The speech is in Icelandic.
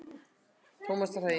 Tómasarhaga